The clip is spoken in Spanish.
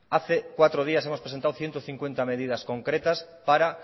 hace cuatro días hemos presentado ciento cincuenta medidas concretas para